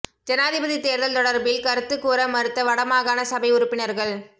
ஜனாதிபதித் தேர்தல் தொடர்பில் கருத்துக் கூற மறுத்த வடமாகாண சபை உறுப்பினர்கள்